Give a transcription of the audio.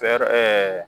Fɛɛrɛ